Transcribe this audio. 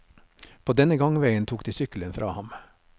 På denne gangveien tok de sykkelen fra ham.